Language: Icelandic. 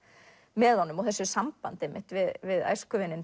með honum og þessu sambandi einmitt við